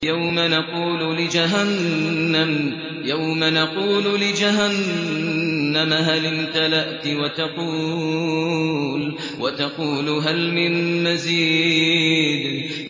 يَوْمَ نَقُولُ لِجَهَنَّمَ هَلِ امْتَلَأْتِ وَتَقُولُ هَلْ مِن مَّزِيدٍ